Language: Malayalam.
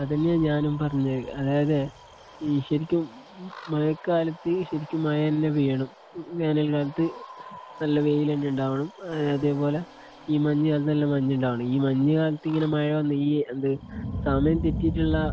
അത് തന്നെയാ ഞാനും പറഞ്ഞത്. അതായത് ഈ ശരിക്കും മഴ കാലത്ത് ശരിക്കും മഴ തന്നെ പെയ്യണം . വേനൽ കാലത്ത് നല്ല വെയില് തന്നെ ഉണ്ടാകണം. അതേ പോലെ ഈ മഞ്ഞ് കാലത്ത് നല്ല മഞ്ഞ് ഉണ്ടാകണം. ഈ മഞ്ഞ് കാലത്ത് ഇങ്ങനെ മഴ വന്ന് ഈ എന്ത് സമയം തെറ്റിയിട്ട് ഉള്ള